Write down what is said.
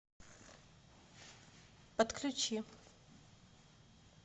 подключи